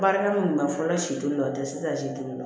Baarakɛ mun bɛ fɔlɔ si dun dɔ o tɛ se ka si to